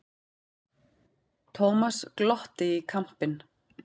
Thomas glotti í kampinn.